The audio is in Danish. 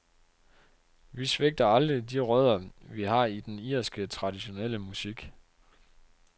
Vi svigter aldrig de rødder, vi har i den irske, traditionelle musik.